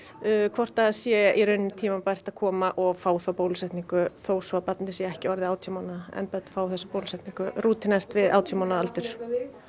hvort það sé tímabært að koma og fá bólusetningu þótt barnið sé orðið átján mánaða en börn fá þessa bólusetningu við átján mánaða aldur